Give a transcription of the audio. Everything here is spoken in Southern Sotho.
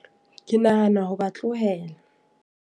Ke nahana ho ba tlohela.